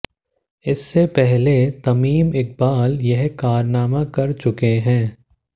इससे पहले तमीम इकबाल यह कारनामा कर चुके हैं